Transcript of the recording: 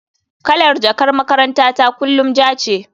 Kalar jakar makarantata kullum ja ce.